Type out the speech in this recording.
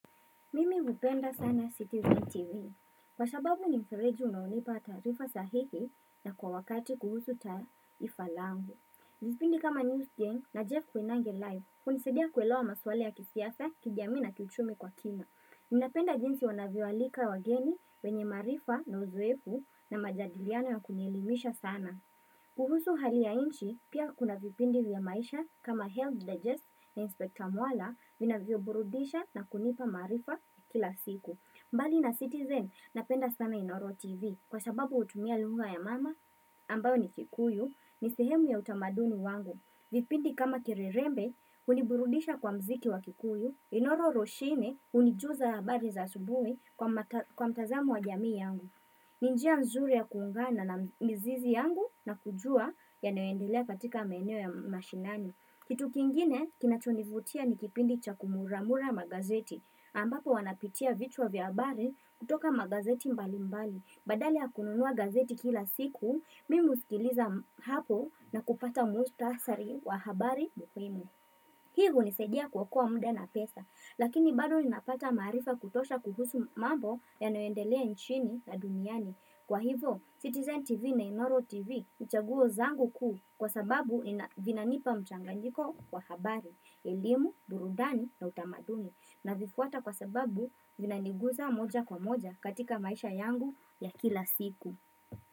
Mimi kupenda sana CCTV. Kwa sababu ni mfeleji unaonipa taarifa sahihi na kwa wakati kuhusu taifa langu. Lakini kana Citizen, najoin Jeff Koinange live. Unisidia kuelo wa maswale ya kisiafe, kijamii na kichumi kwa kina. Ninapenda jinsi wanaviwalika wageni wenye maarifa na uzoefu na majadiliona ya kunyelimisha sana. Kuhusu hali ya inchi pia kuna vipindi vya maisha kama health digest na inspekta mwala vinavyo burudisha na kunipa maarifa kila siku mbali na Citizen napenda sana inoro tv kwa sababu utumia lunga ya mama ambayo ni kikuyu ni sehemu ya utamaduni wangu vipindi kama kirirembe uniburudisha kwa mziki wakikuyu inoro roshine unijuza ya bari za subuhi kwa mtazamo wa jamii yangu ni njia mzuri ya kungana na mizizi yangu na kujua yanoendelea katika maeneo ya mashinani. Kitu kingine kinachonivutia nikipindi cha kumuramura magazeti. Ambapo wanapitia vitu wa vyabari kutoka magazeti mbali mbali. Badali ya kununua gazeti kila siku, mimi usikiliza hapo na kupata mkutasari wa habari muhimu. Hii unizadia kuokoa muda na pesa. Lakini bado ninapata maarifa kutosha kuhusu mambo yanayoendelea nchini na duniani. Kwa hivo, Citizen TV na Inoro TV ni chaguo zangu kuu kwa sababu vinanipa mchanga njiko kwa habari, elimu, burudani na utamadumi na vifuata kwa sababu vinaniguza moja kwa moja katika maisha yangu ya kila siku.